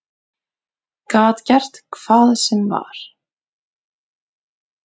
Gat gert hvað sem var.